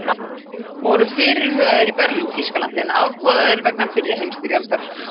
Voru fyrirhugaðir í Berlín, Þýskalandi, en afboðaðir vegna fyrri heimsstyrjaldar.